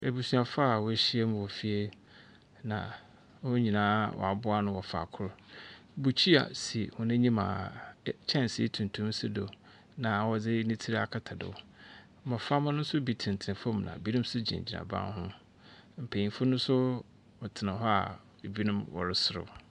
Abusuafoa woehyiam mu wɔ fie na won nyinaa aboano wɔ faakor. Mukyia si wɔn anyim a kyɛnse tutum si do na wɔdzi ni tir akata do. Mmɔframa no so bi tena tena fom na ebinom nso gyina gyina ban ho. Mpayinfo no so wɔtena hɔ a ebinom wɔre serew.